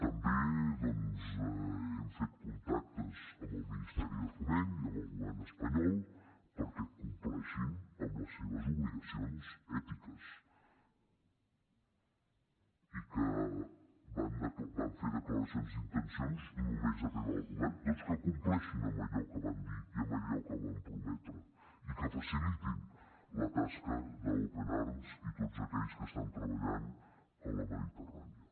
també doncs hem fet contactes amb el ministeri de foment i amb el govern espanyol perquè compleixin amb les seves obligacions ètiques i que van fer declaracions d’intencions només arribar al govern doncs que compleixin amb allò que van dir i amb allò que van prometre i que facilitin la tasca d’open arms i de tots aquells que estan treballant a la mediterrània